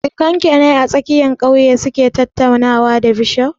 Surakan ki ne a tsakiyar ƙauye su ke tattaunawa da bishof?